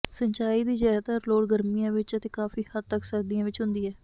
ਸਿੰਚਾਈ ਦੀ ਜ਼ਿਆਦਾਤਰ ਲੋੜ ਗਰਮੀਆਂ ਵਿੱਚ ਅਤੇ ਕਾਫੀ ਹੱਦ ਤੱਕ ਸਰਦੀਆਂ ਵਿੱਚ ਹੁੰਦੀ ਹੈ